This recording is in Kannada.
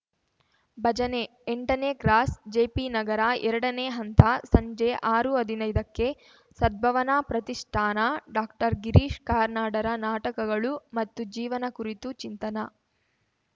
ಭಜನೆ ಎಂಟನೇ ಕ್ರಾಸ್‌ ಜೆಪಿನಗರ ಎರಡನೇ ಹಂತ ಸಂಜೆ ಆರುಹದಿನೈದಕ್ಕೆ ಸದ್ಭಾವನಾ ಪ್ರತಿಷ್ಠಾನ ಡಾಕ್ಟರ್ಗಿರೀಶ್‌ ಕಾರ್ನಾಡರ ನಾಟಕಗಳು ಮತ್ತು ಜೀವನ ಕುರಿತು ಚಿಂತನಾ